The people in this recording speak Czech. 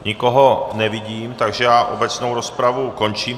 Nikoho nevidím, takže já obecnou rozpravu končím.